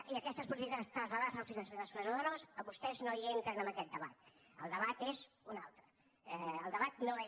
i aquestes polítiques traslladar les al finançament de les comunitats autònomes que vostès no hi entren en aquest debat el debat és un altre el debat no és